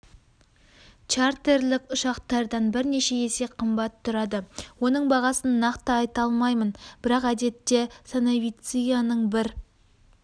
чартерлік ұшақтардан бірнеше есе қымбат тұрады оның бағасын нақты айта алмаймын бірақ әдетте санавицияның бір